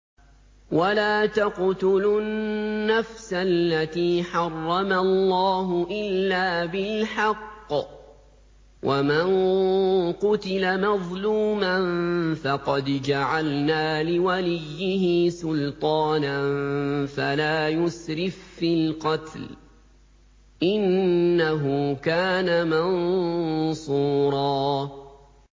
وَلَا تَقْتُلُوا النَّفْسَ الَّتِي حَرَّمَ اللَّهُ إِلَّا بِالْحَقِّ ۗ وَمَن قُتِلَ مَظْلُومًا فَقَدْ جَعَلْنَا لِوَلِيِّهِ سُلْطَانًا فَلَا يُسْرِف فِّي الْقَتْلِ ۖ إِنَّهُ كَانَ مَنصُورًا